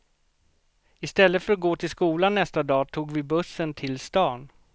I stället för att gå till skolan nästan dag tog vi bussen till stan.